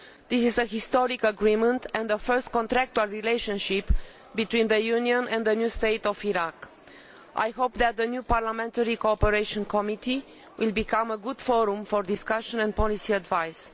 This is a historic agreement and our first contractual relationship between the Union and the new state of Iraq. I hope that the new Parliamentary Cooperation Committee will become a good forum for discussion and policy advice.